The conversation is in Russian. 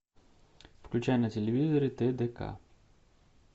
включай на телевизоре тдк